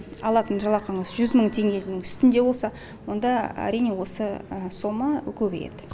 алатын жалақыңыз жүз мың теңгенің үстінде болса онда әрине осы сома көбейеді